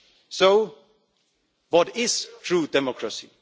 So what is true democracy?